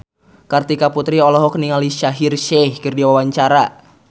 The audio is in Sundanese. Kartika Putri olohok ningali Shaheer Sheikh keur diwawancara